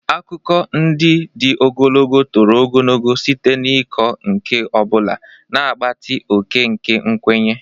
Akụkọ ndị dị ogologo toro ogologo site n'ịkọ nke ọ bụla, na-agbatị oke nke nkwenye.